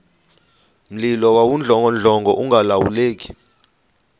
mlilo wawudlongodlongo ungalawuleki